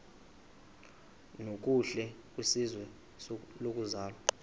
nokuhle kwizwe lokuzalwa